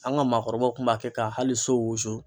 An ka maakɔrɔbaw tun b'a kɛ ka hali so wusu.